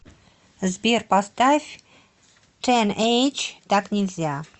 сбер поставь тэнэйдж так нельзя